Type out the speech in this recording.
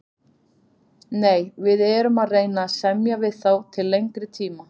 Nei, við erum að reyna að semja við þá til lengri tíma.